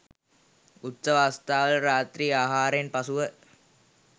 උත්සව අවස්ථාවල රාත්‍රී ආහාරයෙන් පසුව